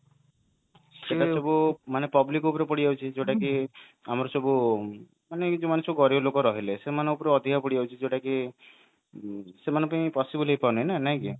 ସେଇଟା ସବୁ ମାନେ public ଉପରେ ପଡି ଯାଉଛି ଯୋଉଟା କି ଆମର ସବୁ ମାନେ ଯୋଉମାନେ ସବୁ ଗରିବ ଲୋକ ରହିଲେ ସେମାନଙ୍କ ଉପରେ ଅଧିକ ପଡି ଯାଉଛି ଯୋଉଟା କି ସେମାନଙ୍କ ପାଇଁ possible ହେଇପାରୁନି ନାଇଁ କି